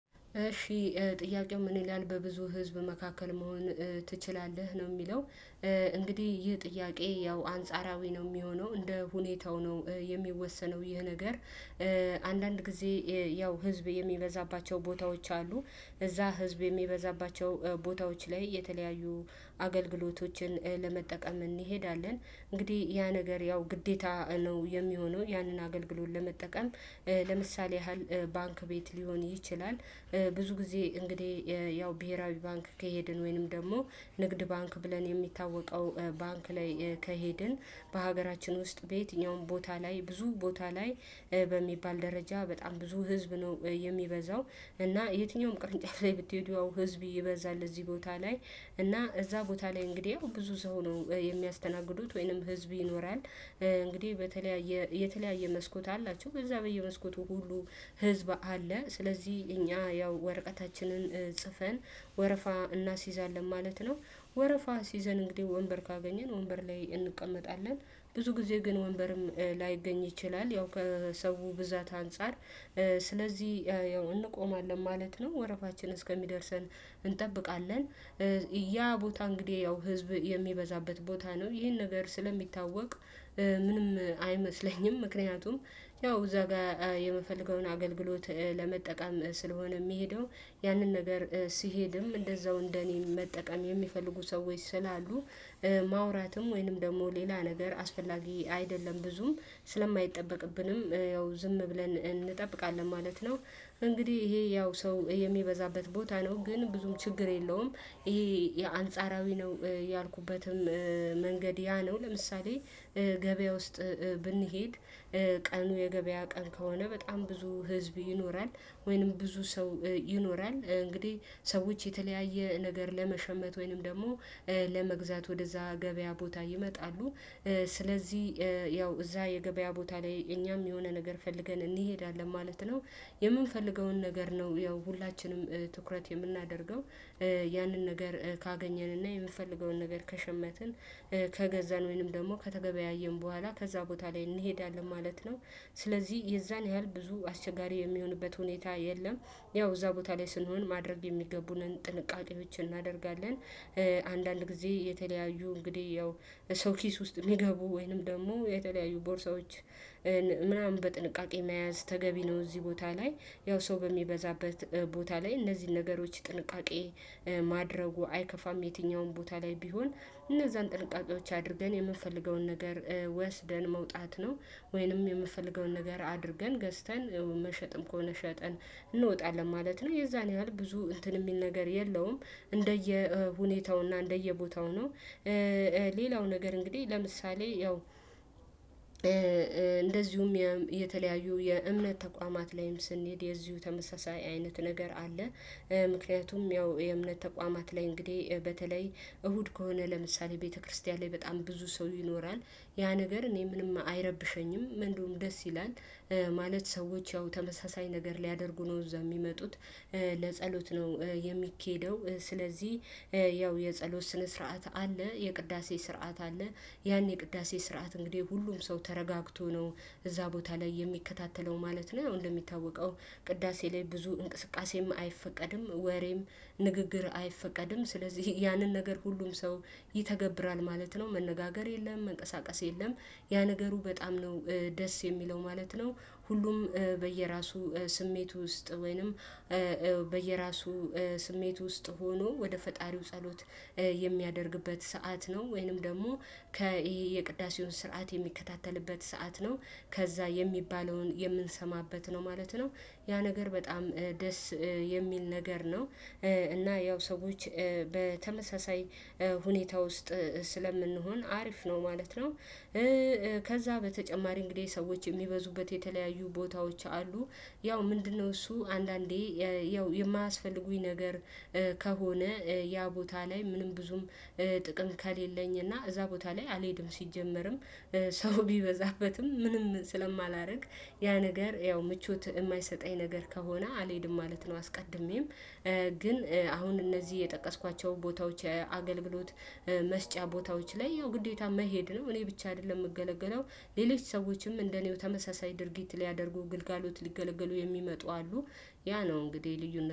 እሺ ጥያቄው ምን ይላል በብዙ ህዝብ መካከል መሆን ትችላለህ? ነው የሚለው እንግዲህ ይህ ጥያቄ ያው አንጻራዊ ነው የሚሆነው እንደ ሁኔታው ነው የሚወሰነው ይሄ ነገር አንዳንድ ጊዜ ያው ህዝብ የሚበዛባቸው ቦታዎች አሉ እዛ ህዝብ የሚበዛባቸው ቦታዎች ላይ የተለያዩ አገልግሎቶችን ለመጠቀም እንሄዳለን እንግዲህ ያ ነገር ያው ግዴታ ነው የሚሆነው ያንን አገልግሎት ለመጠቀም ለምሳሌ:- ያህል ባንክ ቤት ሊሆን ይችላል። ብዙ ጊዜ እንግዲህ ያው ብሄራዊ ባንክ ከሄድን ወይንም ደግሞ ንግድ ባንክ ብለን የሚታወቀው ባንክ ላይ ከሄድን በሀገራችን ውስጥ በየትኛውም ቦታ ላይ ብዙ ቦታ ላይ በሚባል ደረጃ በጣም ብዙ ህዝብ ነው የሚበዛው እና የትኛውም ቅርንጫፍ ላይ ብትሄዱ ህዝብ ይበዛል እዚህ ቦታ ላይ እና እዛ ቦታ ላይ እንግዲህ ብዙ ሰው ነው የሚያስተናግዱት ወይንም ህዝብ ይኖራል እንግዲህ በተለያየ የተለያየ መስኮት አላቸው በዛ በየመስኮቱ ሁሉ ህዝብ አለ ስለዚህ እኛ ያው ወረቀታችንን ጽፈን ወረፋ እናስይዛለን ማለት ነው ወረፋ አሲዘን እንግዲህ ወንበር ካገኘን ወንበር ላይ እንቀመጣለን ብዙ ጊዜ ግን ወንበርም ላይገኝ ይችላል ያው ከሰው ብዛት አንፃር። ስለዚህ እንቆማለን ማለት ነው፤ ወረፋችን እስከሚደርሰን እንጠብቃለን ያ ቦታ እንግዲህ ያው ህዝብ የሚበዛበት ቦታ ነው ይሄን ነገር ስለሚታወቅ ምንም አይመስለኝም ምክንያቱም ያው እዛ ጋር የምፈልገውን አገልግሎት ለመጠቀም ስለሆነ የሚሄደው ያንን ነገር ሲሄድም እንደዛው እንደኔ መጠቀም የሚፈልጉ ሰዎች ስላሉ ማውራትም ወይንም ደግሞ ሌላ ነገር አስፈላጊ አይደለም ብዙም ስለማይጠበቅብንም ያው ዝም ብለን እንጠብቃለን ማለት ነው፤ እንግዲህ ይሄ ያው ሰው የሚበዛበት ቦታ ነው ግን ብዙም ችግር የለውም ይሄ የአንጻራዊ ነው ያልኩበትም መንገድ ያ ነው ለምሳሌ፦ ገበያ ውስጥ ብንሄድ ቀኑ የገበያ ቀን ከሆነ በጣም ብዙ ህዝብ ይኖራል ወይንም ብዙ ሰው ይኖራል እንግዲህ ሰዎች የተለያየ ነገር ለመሸመት ወይንም ደግሞ ለመግዛት ወደዛ ገበያ ቦታ ይመጣሉ። ስለዚህ ያው እዛ የገበያ ቦታ ላይ እኛም የሆነ ነገር ፈልገን እንሄዳለን ማለት ነው የምንፈልገውን ነገር ነው ያው ሁላችንም ትኩረት የምናደርገው። ያንን ነገር ካገኘንንና የምፈልገውን ነገር ከሸመትን ከገዛን ወይንም ደግሞ ከተገበያየን በኋላ ከዛ ቦታ ላይ እንሄዳለን ማለት ነው ስለዚህ የዛን ያህል ብዙ አስቸጋሪ የሚሆንበት ሁኔታ የለም ያው እዛ ቦታ ላይ ስንሆን ማድረግ የሚገቡንን ጥንቃቄዎችን እናደርጋለን። አንዳንድ ጊዜ የተለያዩ እንግዲህ ያው የሰው ኪስ ውስጥ የሚገቡ ወይንም ደግሞ የተለያዩ ቦርሳዎች ምናምን በጥንቃቄ መያዝ ተገቢ ነው እዚህ ቦታ ላይ ያው ሰው በሚበዛበት ቦታ ላይ እነዚህን ነገሮች ጥንቃቄ ማድረጉ አይከፋም የትኛውም ቦታ ላይ ቢሆን እነዛን ጥንቃቄዎች አድርገን የምንፈልገውን ነገር ወስደን መውጣት ነው ወይንም የምፈልገውን ነገር አድርገን ገዝተን መሸጥም ከሆነ ሸጠን እንወጣለን ማለት ነው የዛን ያህል ብዙ እንትን የሚል ነገር የለውም እንደየ ሁኔታውና እንደየ ቦታው ነው። ሌላው ነገር እንግዲህ ለምሳሌ:- ያው እንደዚሁም የተለያዩ የእምነት ተቋማት ላይም ስንሄድ የዚሁ ተመሳሳይ አይነት ነገር አለ። ምክንያቱም ያው የእምነት ተቋማት ላይ እንግዲህ በተለይ እሁድ ከሆነ ለምሳሌ ቤተክርስቲያን ላይ በጣም ብዙ ሰው ይኖራል ያ ነገር እኔ ምንም አይረብሸኝም ምንድነው ደስ ይላል። ማለት ሰዎች ያው ተመሳሳይ ነገር ሊያደርጉ ነው እዛ የሚመጡት። ለጸሎት ነው የሚኬደው ስለዚህ ያው የጸሎት ስነ ስርዓት አለ የቅዳሴ ስርዓት አለ ያን ቅዳሴ ስርዓት እንግዲህ ሁሉም ሰው ተረጋግቶ ነው እዛ ቦታ ላይ የሚከታተለው ማለት ነው ያው እንደሚታወቀው ቅዳሴ ላይ ብዙ እንቅስቃሴም አይፈቀድም ወሬም ንግግር አይፈቀድም ስለዚህ ያንን ነገር ሁሉም ሰው ይተገብራል ማለት ነው መነጋገር የለም መንቀሳቀስ የለም ያ ነገሩ በጣም ነው ደስ የሚለው ማለት ነው ሁሉም በየራሱ ስሜት ውስጥ ወይንም በየራሱ ስሜት ውስጥ ሆኖ ወደ ፈጣሪው ጸሎት የሚያደርግበት ሰዓት ነው ወይንም ደግሞ ከይሄ የቅዳሴውን ስርዓት የሚከታተልበት ሰዓት ነው ከዛ የሚባለውን የምንሰማበት ነው ማለት ነው ያ ነገር በጣም ደስ የሚል ነገር ነው እና ያው ሰዎች በተመሳሳይ ሁኔታ ውስጥ ስለምንሆን አሪፍ ነው ማለት ነው። ከዛ በተጨማሪ እንግዲህ ሰዎች የሚበዙበት የተለያዩ ቦታዎች አሉ ያው ምንድነው እሱ አንዳንዴ ያው የማያስፈልጉኝ ነገር ከሆነ ያ ቦታ ላይ ምንም ብዙም ጥቅም ከሌለኝ እና እዛ ቦታ ላይ አልሄድም ሲጀመርም ሰው ቢበዛበትም ምንም ስለማላርቅ ያ ነገር ያው ምቾት የማይሰጠኝ ነገር ከሆነ አልሄድም ማለት ነው አስቀድሜም። ግን አሁን እነዚህ የጠቀስኳቸው ቦታዎች አገልግሎት መስጫ ቦታዎች ላይ ይኸው ግዴታ መሄድ ነው እኔ ብቻ አይደለም የምገለገለው ሌሎች ሰዎችም እንደኔው ተመሳሳይ ድርጊት ሊያደርጉ ግልጋሎት ሊገለግሉ የሚመጡ አሉ። ያ ነው እንግዲህ ልዩነት።